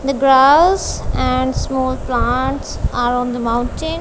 the grass and small plants are on the mountain.